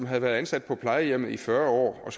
har været ansat på plejehjemmet i fyrre år og